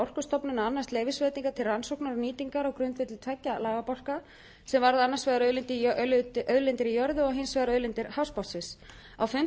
orkustofnun að annast leyfisveitingar til rannsóknar og nýtingar á grundvelli tveggja lagabálka sem varða annars vegar auðlindir í jörðu og hins vegar auðlindir hafsbotnsins á